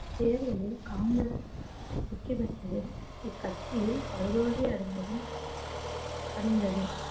தேர்தலில் காங்கிரஸ் வெற்றி பெற்றது இக்கட்சியில் படுதோல்வி அடைந்ததும் அடைந்தது